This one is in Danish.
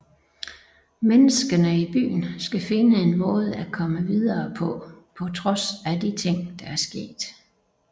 Menneskene i byen skal finde en måde at komme videre på på trods af de ting der er sket